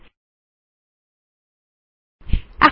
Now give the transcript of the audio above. এগুলি আপনি নিজে করে দেখুন